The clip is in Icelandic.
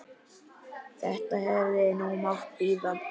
Þetta hefði nú mátt bíða.